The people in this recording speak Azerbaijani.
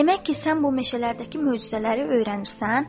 Demək ki, sən bu meşələrdəki möcüzələri öyrənirsən?